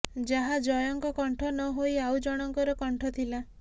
ଯାହା ଜୟଙ୍କ କଣ୍ଠ ନ ହୋଇ ଆଉ ଜଣଙ୍କର କଣ୍ଠ ଥିଲା